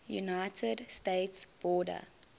united states border